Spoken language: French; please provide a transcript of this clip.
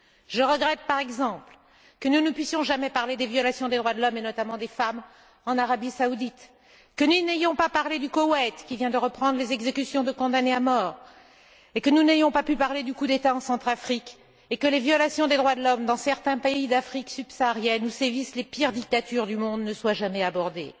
Je regrette, par exemple, que nous ne puissions jamais parler des violations des droits de l'homme, et notamment des femmes, en Arabie saoudite, que nous n'ayons pas parlé du Koweït, qui vient de reprendre les exécutions de condamnés à mort, que nous n'ayons pas pu parler du coup d'État en Centrafrique et que les violations des droits de l'homme dans certains pays d'Afrique subsaharienne, où sévissent les pires dictatures du monde, ne soient jamais abordées.